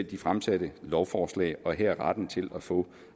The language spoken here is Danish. de fremsatte lovforslag her retten til at få